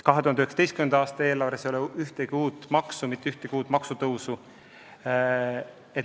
2019. aasta eelarves ei ole ühtegi uut maksu, mitte ühtegi uut maksutõusu.